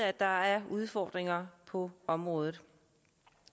at der er udfordringer på området